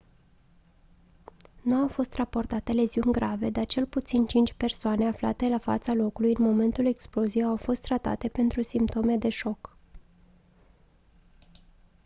nu au fost raportate leziuni grave dar cel puțin cinci persoane aflate la fața locului în momentul exploziei au fost tratate pentru simptome de șoc